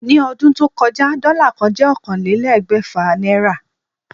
Ní o̩dún tó ko̩já, dó̩là kan jé̩ ókànlélé̩gbè̩fà náírà